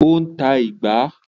Ó ń ta “ìgbá”.